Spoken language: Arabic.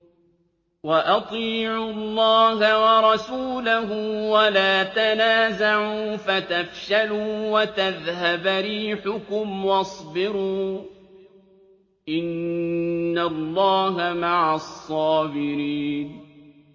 وَأَطِيعُوا اللَّهَ وَرَسُولَهُ وَلَا تَنَازَعُوا فَتَفْشَلُوا وَتَذْهَبَ رِيحُكُمْ ۖ وَاصْبِرُوا ۚ إِنَّ اللَّهَ مَعَ الصَّابِرِينَ